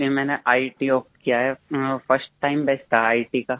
इसलिए मैंने इत ओप्ट किया है फर्स्ट टाइम बेस्ट ईआईटी